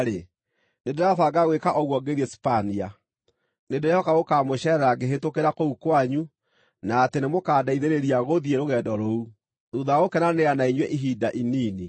nĩndĩrabanga gwĩka ũguo ngĩthiĩ Sipania. Nĩndĩrehoka gũkaamũceerera ngĩhĩtũkĩra kũu kwanyu, na atĩ nĩmũkandeithĩrĩria gũthiĩ rũgendo rũu, thuutha wa gũkenanĩra na inyuĩ ihinda inini.